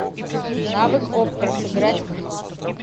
навык оппра сыграть в